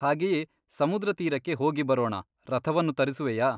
ಹಾಗೆಯೇ ಸಮುದ್ರತೀರಕ್ಕೆ ಹೋಗಿ ಬರೋಣ ರಥವನ್ನು ತರಿಸುವೆಯಾ ?